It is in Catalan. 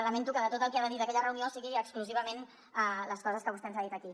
lamento que tot el que ha de dir d’aquella reunió siguin exclusivament les coses que vostè ens ha dit aquí